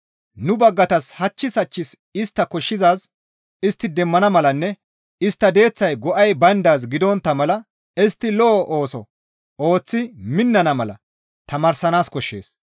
Nu baggatas hachchis hachchis istta koshshizaaz istti demmana malanne istta deeththay go7ay bayndaaz gidontta mala istti lo7o ooso ooththi minnana mala tamaaranaas koshshees.